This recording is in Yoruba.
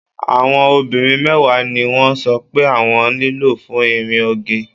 Àwọn obìnrin mẹ́wàá ni wọ́n sọ pé àwọn nílò fún ìrìn oge.